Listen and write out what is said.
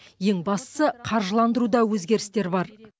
ең бастысы қаржыландыруда өзгерістер бар